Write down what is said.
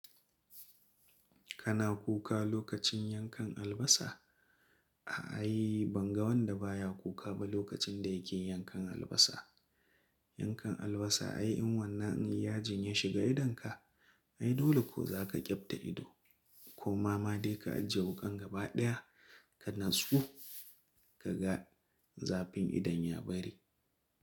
Kana kuka lokacin yankan albasa? A'a, ai ban ga wanda ba ya kuka ba lokacin da yake yankan albasa. Yankan albasa, ai in wannan in yajin ya shiga idonka, ai dole ko za ka ƙyabta ido ko ma ma dai ka ajiye wukan gaba ɗaya ka natsu, ka ga zafin idon ya bari.